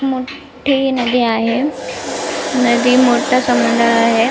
मोठी नदी आहे नदी मोठ समुद्र आहे.